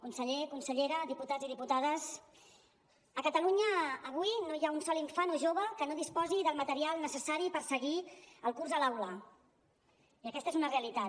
conseller consellera diputats i diputades a catalunya avui no hi ha un sol infant o jove que no disposi del material necessari per seguir el curs a l’aula i aquesta és una realitat